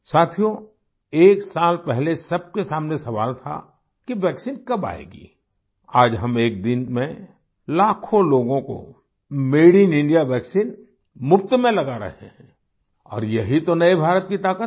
साथियो एक साल पहले सबके सामने सवाल था कि वैक्सीन कब आएगी आज हम एक दिन में लाखों लोगों को मादे इन इंडिया वैक्सीन मुफ़्त में लगा रहे हैं और यही तो नए भारत की ताक़त है